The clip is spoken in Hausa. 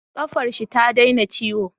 Ƙafar shi ta daina ciwo